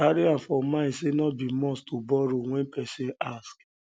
carry am for um mind sey no be must to borrow when person ask um